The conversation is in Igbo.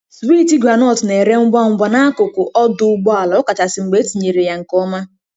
Swiiti groundnut na-ere ngwa ngwa n'akụkụ ọdụ ụgbọ ala, ọkachasị mgbe etinyere ya nke ọma.